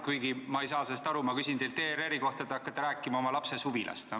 Kuigi ma ei saa aru sellest, et kui ma küsin teilt ERR-i kohta, siis te hakkate rääkima oma lapse suvilast.